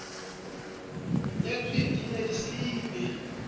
nyetsweng di ne di siile